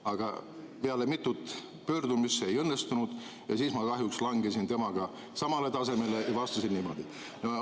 " Aga peale mitut pöördumist see ei õnnestunud ja siis ma kahjuks langesin temaga samale tasemele ja vastasin niimoodi.